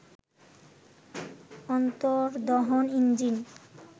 অন্তর্দহন engine